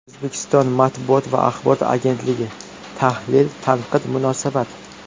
O‘zbekiston matbuot va axborot agentligi: tahlil, tanqid, munosabat.